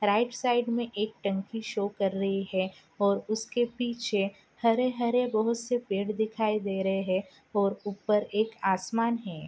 Right side में एक टंकी शो कर रही है और उसके पीछे हरे हरे बहोत से पेड़ दिखाइ दे रहे है और ऊपर एक आसमान है।